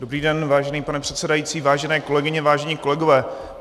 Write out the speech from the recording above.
Dobrý den, vážený pane předsedající, vážené kolegyně, vážení kolegové.